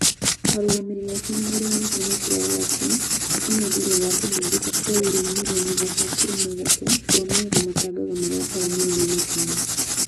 Arũgamĩrĩri ake nĩmareganĩte na ciira wa atĩ ena thiirĩ wa kĩmanjĩka kĩa euro mirioni ithatũ turuma ithatũ kũrũmĩrĩra matangatho marĩ a atarũmĩrĩire na kinyi